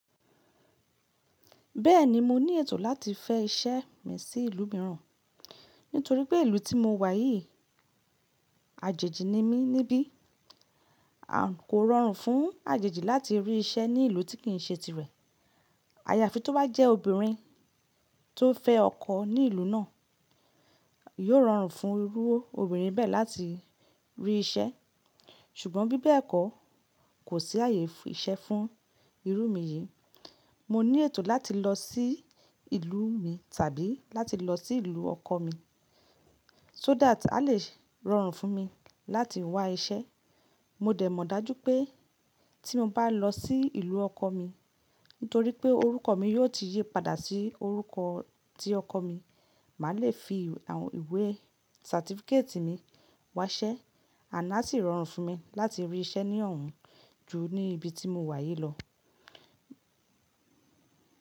Bẹ́ẹ̀ni mo ní ètò láti fẹ́ iṣẹ́ mi sí ìlú mìíràn, nítorí pé ìlú tí mo wà yìí àjèjì ni mí níbí, kò rọrùn fún àjèjì láti rí iṣẹ́ ní ìlú tí kì í ṣe tirẹ̀. Ayàfi tó bá jẹ́ obìnrin tó fẹ́ ọkọ ní ìlú náà, yóò rọrùn fún irú obìnrin bẹ́ẹ̀ láti rí iṣẹ́. Ṣùgbọ́n bí bẹ́ẹ̀ kọ́ kò sí àyè iṣẹ́ fún irú mi yìí. Mo ní ètò láti lọ sí ìlú mi tàbí láti lọ sí ìlú ọkọ mi, so that a lè rọrùn fún mi láti wá iṣẹ́. Mo dẹ̀ mọ̀ dájú pé tí mo bá lọ sí ìlú ọkọ mi, nítorí pé orúkọ mi yóò ti yí padà sí orúkọ tí ọkọ mi, màá le fi àwọn ìwé certificate mi wá iṣẹ́, ànd aa sì rọrùn fún mi láti rí iṣẹ́ ní ọ̀hún ju ní ibi tí mo wà yìí lọ.